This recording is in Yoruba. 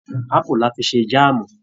Apu la fi ṣe jaamu.